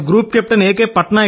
నేను group captain ఎ